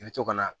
I bɛ to ka na